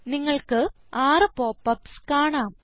നിങ്ങൾക്ക് 6 pop ups കാണാം